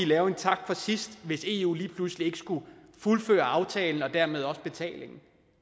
lave en tak for sidst hvis eu pludselig ikke fuldfører aftalen og dermed også betalingen